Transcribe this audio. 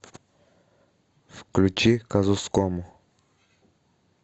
включи казускому